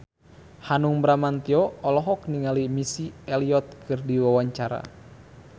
Hanung Bramantyo olohok ningali Missy Elliott keur diwawancara